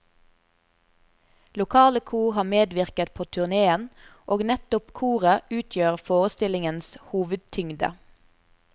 Lokale kor har medvirket på turnéen, og nettopp koret utgjør forestillingens hovedtyngde.